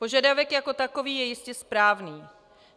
Požadavek jako takový je jistě správný.